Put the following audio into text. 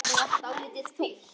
Það varð dálítið þunnt.